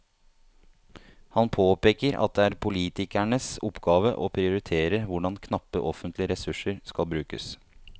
Han påpeker at det er politikernes oppgave å prioritere hvordan knappe offentlige ressurser skal brukes.